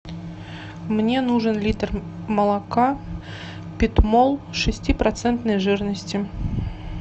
мне нужен литр молока питмол шестипроцентной жирности